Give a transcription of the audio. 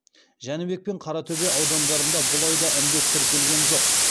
жәнібек пен қаратөбе аудандарында бұл айда індет тіркелген жоқ